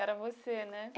Era você, né?